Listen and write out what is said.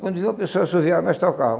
Quando via uma pessoa assoviar, nós tocava.